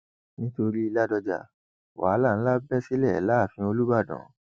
nítorí ládọja wàhálà ńlá bẹ sílẹ láàfin olùbàdàn